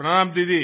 प्रणाम दीदी